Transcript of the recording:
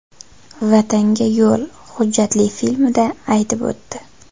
Vatanga yo‘l” hujjatli filmida aytib o‘tdi.